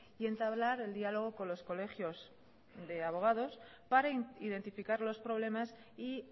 y entablar el diálogo con los colegios de abogados para identificar los problemas y